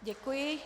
Děkuji.